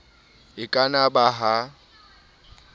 e ka na ba ha